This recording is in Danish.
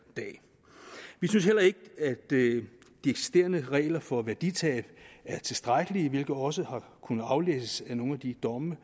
dag vi synes heller ikke at de eksisterende regler for værditab er tilstrækkelige hvilket også har kunnet aflæses af nogle af de domme